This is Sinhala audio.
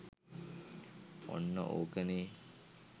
ඔන්න ඕකනේ